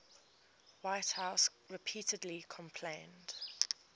whitehouse repeatedly complained